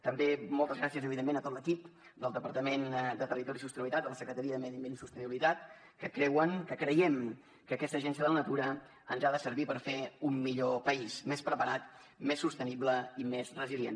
també moltes gràcies evidentment a tot l’equip del departament de territori i sostenibilitat de la secretaria de medi ambient i sostenibilitat que creuen que creiem que aquesta agència de la natura ens ha de servir per fer un millor país més preparat més sostenible i més resilient